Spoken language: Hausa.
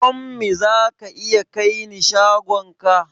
Tommy za ka iya kai ni shagon ka?